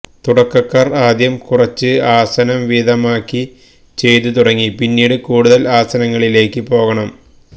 തുടക്കക്കാർ ആദ്യം കുറച്ച് ആസനം വീതമാക്കി ചെയ്തു തുടങ്ങി പിന്നീട് കൂടുതൽ ആസനങ്ങളിലേക്ക് പോകണം